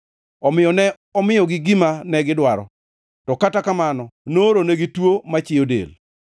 Omiyo ne omiyogi gima negidwaro, to kata kamano nooronegi tuo machiyo del.